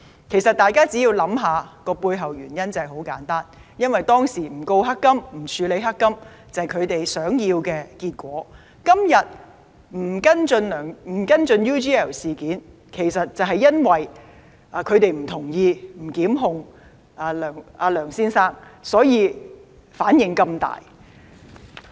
其實大家只要想想，背後原因很簡單，因為當時不控告、不處理"黑金"，便是他們想要的結果，而今天不跟進 UGL 事件，其實就是因為他們不同意不向梁先生作出檢控，所以才有如此大的反應。